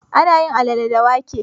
Ana yin alale da wake.